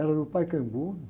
Era no Pacaembu, né?